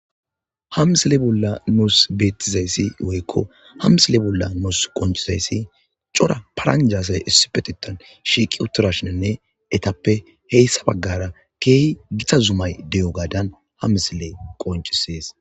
hamisile bolla nuus beettizayssi woykko hamsile bolla nuus qoncizayssi cora paranjasay issipetitan shiiqi utturashinenne etappe heyssa baggara keehi gita zumay de7o gaadan ha misile qoncisees